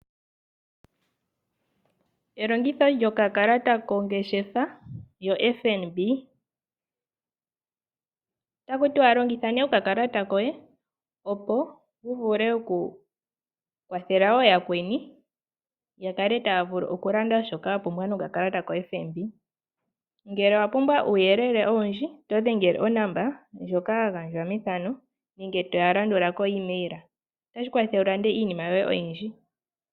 Elongitho lyokakalata kongeshefa yoFNB. Otaku tiwa longitha nee okakalata koye opo wu vule okukwathela wo yakweni ya kale taa vulu okulanda shoka ya pumbwa nokakala ta kaFNB. Ngele owa pumbwa uuyelele owundji oto dhengele onomola ndjoka ya gandjwa methano nenge toya landula ko email. Otashi kwathele wu lande yoye iinima oyindji.